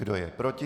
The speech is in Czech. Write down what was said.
Kdo je proti?